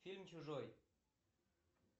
фильм чужой